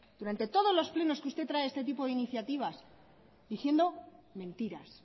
durante todos los plenos que usted trae este tipo de iniciativas diciendo mentiras